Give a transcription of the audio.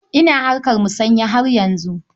Ina harkar musanya har yanzu.